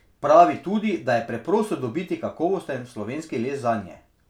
Pravi tudi, da je preprosto dobiti kakovosten slovenski les zanje.